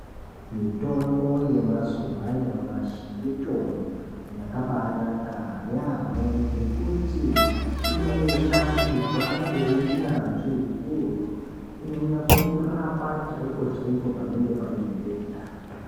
Mitombo yemazuva anyamashi mitombo yakabaanaka yaamho ngekuti inonasirwa ngeunyanzvi hukurutu. Inonyatso kurapa chaipo-chaipo panenge paine denda.